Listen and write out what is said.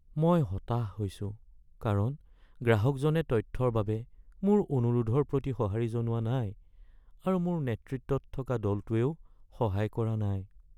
মই হতাশ হৈছোঁ কাৰণ গ্ৰাহকজনে তথ্যৰ বাবে মোৰ অনুৰোধৰ প্ৰতি সঁহাৰি জনোৱা নাই আৰু মোৰ নেতৃত্বত থকা দলটোৱেও সহায় কৰা নাই।